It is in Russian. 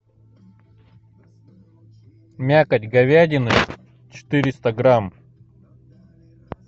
мякоть говядины четыреста грамм